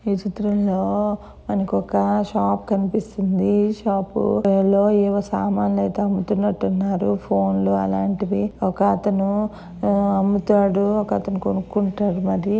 ఈ చిత్రంలో మనకు ఒక షాప్ కనిపిస్తుంది. ఈ షాప్ లో ఏవో సామాన్లు అయితే అమ్ముతున్నట్టు ఉన్నారు. ఫోన్ లు అలాంటివి ఒకతను అమ్ముతాడు ఒకతను కొనుక్కుంటారు మరి.